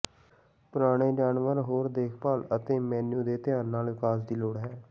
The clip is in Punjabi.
ਪੁਰਾਣੇ ਜਾਨਵਰ ਹੋਰ ਦੇਖਭਾਲ ਅਤੇ ਮੇਨੂ ਦੇ ਧਿਆਨ ਨਾਲ ਵਿਕਾਸ ਦੀ ਲੋੜ ਹੈ